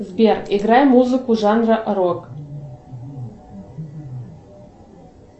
сбер играй музыку жанра рок